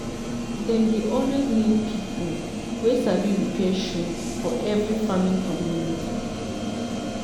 dem dey always need pipo wey sabi repair shoe for every farming community.